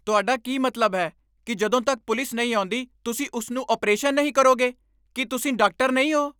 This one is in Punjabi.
ਤੁਹਾਡਾ ਕੀ ਮਤਲਬ ਹੈ, ਕਿ ਜਦੋਂ ਤੱਕ ਪੁਲਿਸ ਨਹੀਂ ਆਉਂਦੀ, ਤੁਸੀਂ ਉਸ ਨੂੰ ਅਪਰੇਸ਼ਨ ਨਹੀਂ ਕਰੋਗੇ? ਕੀ ਤੁਸੀਂ ਡਾਕਟਰ ਨਹੀਂ ਹੋ?